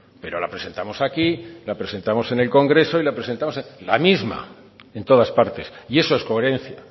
pero la presentamos aquí la presentamos en el congreso y la presentamos la misma en todas partes y eso es coherencia